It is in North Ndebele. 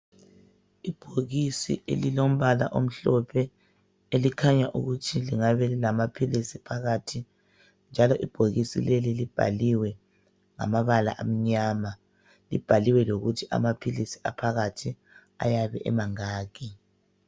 Ibhokisi elilombala omhlophe elikhanya ukuthi lingabe lilamapilisi phakathi njalo ibhokisi leli libhaliwe ngamabala amnyama. Libhaliwe lokuthi amapilisi aphakathi ayabe emangaki.